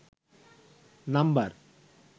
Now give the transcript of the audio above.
number